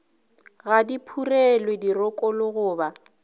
ga di phurelwe dirokolo goba